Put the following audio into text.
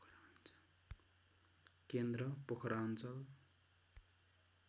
केन्द्र पोखरा अञ्चल